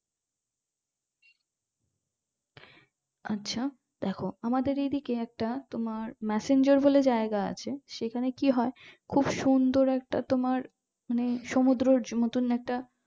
আছো দেখো আমাদের এদিকে একটা মাসাঞ্জোর বলে জায়গা আছে সেখানে কি হয় খুব সুন্দর একটা তোমার মানে সুমুদর একটা